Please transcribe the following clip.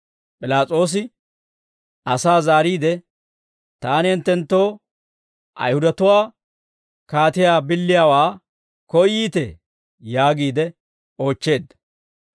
P'ilaas'oosi asaa zaariide, «Taani hinttenttoo Ayihudatuwaa kaatiyaa billiyaawaa koyyiitee?» yaagiide oochcheedda.